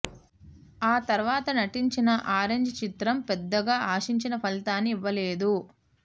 ఆ తర్వాత నటించిన ఆరెంజ్ చిత్రం పెద్దగా ఆశించిన ఫలితాన్ని ఇవ్వలేదు